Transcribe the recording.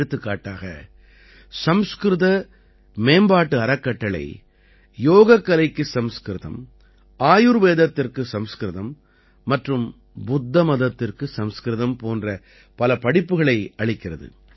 எடுத்துக்காட்டாக சம்ஸ்கிருத மேம்பாட்டு அறக்கட்டளை யோகக்கலைக்கு சம்ஸ்கிருதம் ஆயுர்வேதத்திற்கு சமஸ்கிருதம் மற்றும் புத்த மதத்திற்கு சம்ஸ்கிருதம் போன்ற பல படிப்புகளை அளிக்கிறது